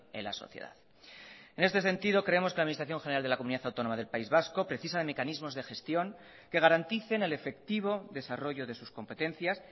en la sociedad en este sentido creemos que la administración general de la comunidad autónoma del país vasco precisa de mecanismos de gestión que garanticen el efectivo desarrollo de sus competencias